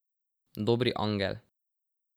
Dobri angel.